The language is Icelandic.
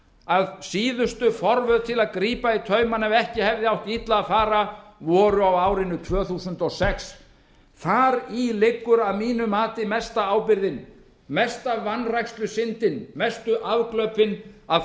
að síðustu forvöð til að grípa í taumana ef ekki hefði átt illa að fara voru á árinu tvö þúsund og sex þar í liggur að mínu mati mesta ábyrgðin mesta vanrækslusyndin mestu afglöpin að